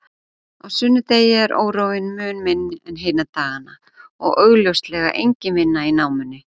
Á sunnudegi er óróinn mun minni en hina dagana og augljóslega engin vinna í námunni.